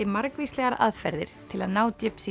margvíslegar aðferðir til að ná